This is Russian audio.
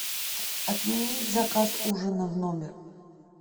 отменить заказ ужина в номер